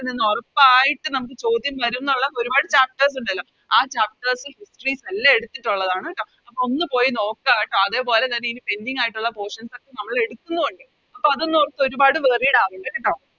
നിന്ന് ഒറപ്പായിട്ട് നമുക്ക് ചോദ്യം വരും ന്നൊള്ള ഒരുപാട് Chapters ഒണ്ടല്ലോ ആ Chapters histories ൽ എല്ലാം എടുത്തിട്ടുള്ളതാണ് ട്ടോ അപ്പൊ ഒന്ന് പോയി നോക്ക അതേപോലെ തന്നെ ഇനി Pending ആയിട്ടുള്ള Portions ഒക്കെ നമ്മള് എടുക്കുന്നു ഒണ്ട് അപ്പൊ അതൊന്നും ഓർത്ത് ഒരുപാട് Worried ആവണ്ട കേട്ടോ